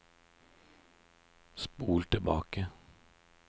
spol tilbake